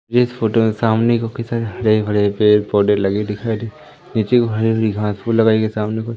इस फोटो में सामने काफी हरे भरे पेड़ पौधे लगे दिखाई दे नीचे हरी भरी घास फूस लगाई है सामने को।